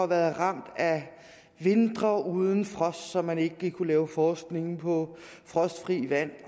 været ramt af vintre uden frost så man ikke lige kunne lave forskning på frostfrit vand